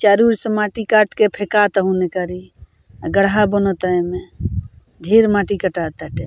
चारों और से माटी काट के फेकाता ओने कारी अ गड्ढा बनता एने ढ़ेर माटी कटाता एटे।